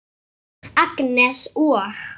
Agnes og